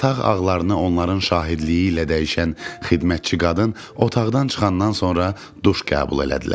Yataq ağlarını onların şahidliyi ilə dəyişən xidmətçi qadın otaqdan çıxandan sonra duş qəbul elədilər.